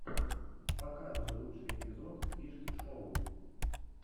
показывай лучший эпизод фишки шоу